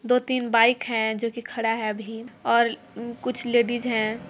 दो तीन बाइक है जो की खड़ा हैअभी और कुछ लेडिस है।